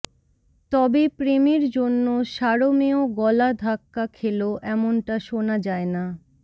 তবে প্রেমের জন্য সারমেয় গলা ধাক্কা খেল এমনটা শোনা যায় না